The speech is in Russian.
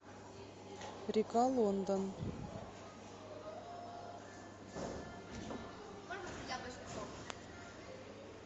река лондон